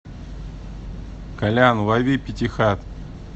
колян лови пятихат